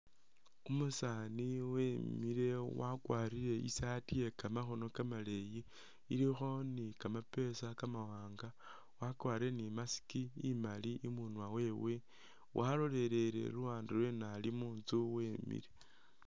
Umusani wemile wakwarile i saati yekamakhono kamaleyi ilikho ni kamapesa kamawanga wakwarile ni mask imali imunwa wewe walolelele luwande lweno alimutsu wemile